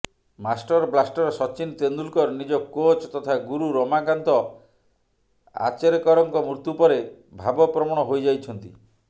master blaster Sachin Tendulkar ନିଜ coach ତଥା ଗୁରୁ ରମାକାନ୍ତ ଆଚରେକରଙ୍କ ମୃତ୍ୟୁ ପରେ ଭାବପ୍ରବଣ ହୋଇଯାଇଛନ୍ତି